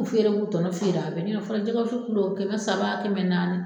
k'o tɔnɔ feere wa fɔlɔ jɛgɛ wusu kɛmɛ saba kɛmɛ naani.